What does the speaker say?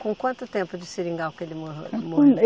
Com quanto tempo de seringal que ele mo, morreu?